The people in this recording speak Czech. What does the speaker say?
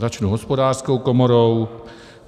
Začnu Hospodářskou komorou.